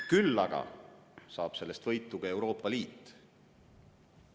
Küll aga saab sellest võitu ka Euroopa Liit.